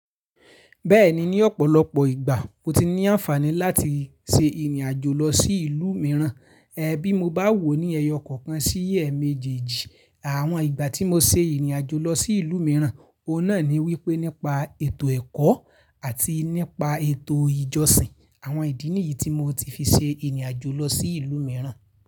Bẹ́ẹ̀ni ní ọ̀pọ̀lọpọ̀ ìgbà mo ti ní àǹfààní láti ṣe ìrìnàjò lọ sí ìlú mìíràn. Ẹ̀ bí mo bá wò ó ní ẹyọ kọ̀ọ̀kan sí ẹ̀ẹ̀mẹjẹejì àwọn ìgbà tí mo ṣe ìrìnàjò lọ sí ìlú mìíràn, òun náà ni wípé nípa ètò ẹ̀kọ́ àti nípa ètò ìjọsìn àwọn ìdí nìyí tí mo ti fi ṣe ìrìnàjò lọ sí ìlú mìíràn.